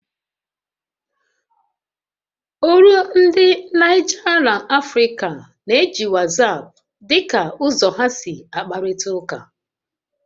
Ólú ndi Naịja Lanfrịca na-eji WhatsApp dị ka ụzọ ha si akparịta ụka